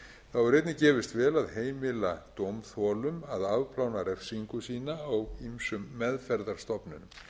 þá hefur einnig gefist vel að heimila dómþolum að afplána refsingu sína á ýmsum meðferðarstofnunum